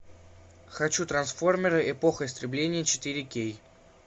хочу трансформеры эпоха истребления четыре кей